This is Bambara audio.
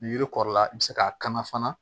Ni yiri kɔrɔla i bɛ se k'a kanu fana